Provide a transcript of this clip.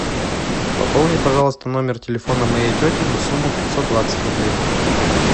пополни пожалуйста номер телефона моей тети на сумму пятьсот двадцать рублей